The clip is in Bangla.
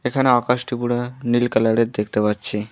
এখানে আকাশটি পুরা নীল কালারের দেখতে পাচ্ছি।